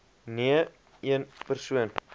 nee een persoon